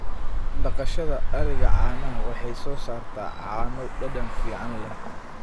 Dhaqashada ariga caanaha waxay soo saartaa caano dhadhan fiican leh.